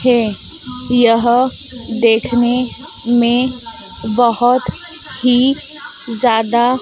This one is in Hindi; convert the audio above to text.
खें यह देखने में बहोत ही ज्यादा--